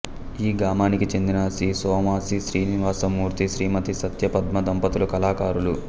ఈ గామానికి చెందిన శ్రీ సోమాసి శ్రీనివాసమూర్తి శ్రీమతి సత్యపద్మ దంపతులు కళాకారులు